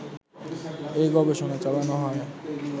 এই গবেষণা চালানো হয়